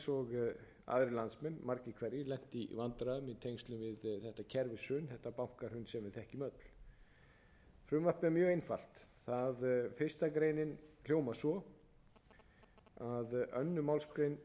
og aðrir landsmenn margir hverjir lent í vandræðum í tengslum við þetta kerfishrun þetta bankahrun sem við þekkjum öll frumvarpið er mjög einfalt fyrstu grein hljóðar svo önnur málsgrein